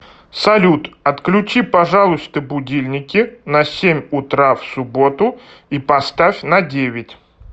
салют отключи пожалуйста будильники на семь утра в субботу и поставь на девять